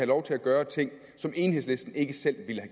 lov til at gøre ting som enhedslisten ikke selv ville